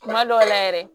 Kuma dɔw la yɛrɛ